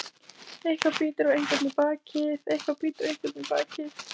Eitthvað bítur einhvern í bakið